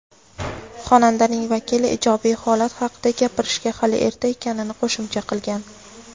Xonandaning vakili ijobiy holat haqida gapirishga hali erta ekanini qo‘shimcha qilgan.